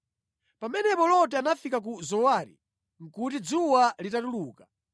Pamene Loti amafika ku Zowari, nʼkuti dzuwa litatuluka.